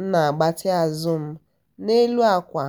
m na agbatị azụ m na-elu ákwà